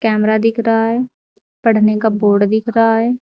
Camera दिख रहा है पढ़ने का बोर्ड दिख रहा है।